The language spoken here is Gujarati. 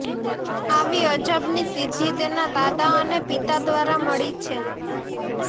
આવી અજબની સિદ્ધિ તેના દાદા અને પિતા દ્વારા મળી છે